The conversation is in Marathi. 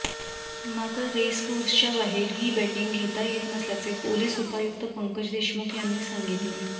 मात्र रेसकोर्सच्या बाहेर ही बेटींग घेता येत नसल्याचे पोलिस उपायुक्त पंकज देशमुख यांनी सांगितले